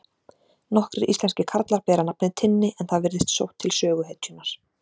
nokkrir íslenskir karlar bera nafnið tinni en það virðist sótt til söguhetjunnar